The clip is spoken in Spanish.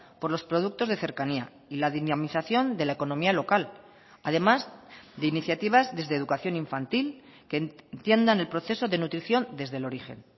por los productos de cercanía y la dinamización de la economía local además de iniciativas desde educación infantil que entiendan el proceso de nutrición desde el origen